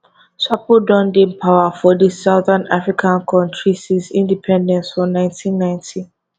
swapo don dey power for di southern african kontri since independence for 1990